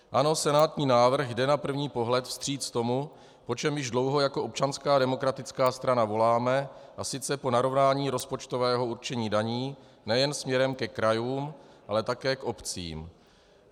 Ano, senátní návrh jde na první pohled vstříc tomu, po čem již dlouho jako Občanská demokratická strana voláme, a sice po narovnání rozpočtového určení daní nejen směrem ke krajům, ale také k obcím.